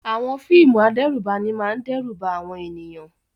Àwọn fíìmù adẹ́rùbani máa ń dẹ́rù ba àwọn ènìyàn.